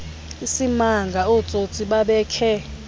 isimanga ootsotsi babekhe